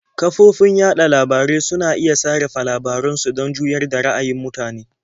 Kafofin yaɗa labarai suna iya sarrafa labaran su don juyar da ra'ayin mutane.